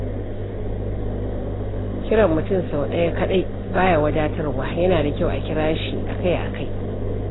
Kiran mutum sau ɗaya kaɗai ba ya wadatarwa, yana da kyau a kira shi akai-akai.